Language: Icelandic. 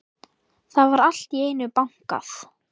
Það var allt í einu bankað.